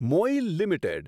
MOIL limited